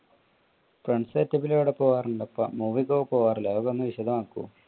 friends setup എവിടെയൊക്കെ പോകാറുണ്ട് അപ്പൊ, movie ഒക്കെ പോകാറില്ലേ അതൊക്കെ ഒന്ന് വിശദമാക്കോ?